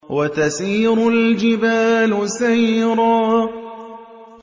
وَتَسِيرُ الْجِبَالُ سَيْرًا